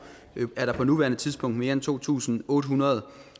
er der på nuværende tidspunkt mere end to tusind otte hundrede